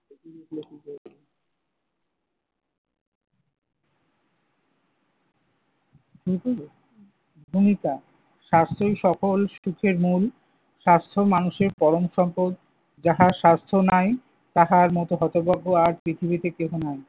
ভূমিকা, স্বাস্থ্যই সকল সুখের মূল। স্বাস্থ্য মানুষের পরম সম্পদ। যাহার স্বাস্থ্য নাই তাহার মতো হতভাগ্য আর পৃথিবীতে কেহ নাই।